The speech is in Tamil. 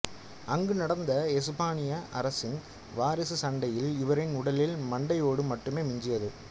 அங்கு நடந்த எசுப்பானிய அரசின் வாரிசு சன்டையில் இவரின் உடலில் மண்டையோடு மட்டுமே மிஞ்சியது